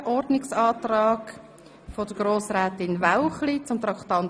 2017.RRGR.102 Massnahmenprogramme